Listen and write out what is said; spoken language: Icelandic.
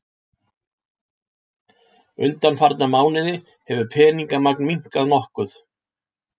Undanfarna mánuði hefur peningamagn minnkað nokkuð